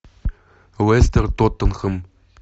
лестер тоттенхэм